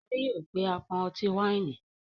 Shade yóò pe apọn ọti-waini.